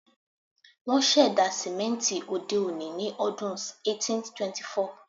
Wón ṣẹ̀dá sìmẹ́ńtì òde-òní ní ọdún 1824.